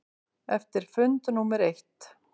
Eftir fund númer eitt.